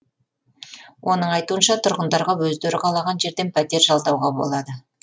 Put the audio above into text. оның айтуынша тұрғындарға өздері қалаған жерден пәтер жалдауға болады